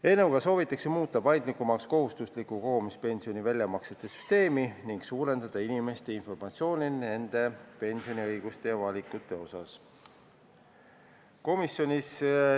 Eelnõuga soovitakse muuta paindlikumaks kohustusliku kogumispensioni väljamaksete süsteemi ning parandada inimeste informeeritust nende pensioniõigustest ja -valikutest.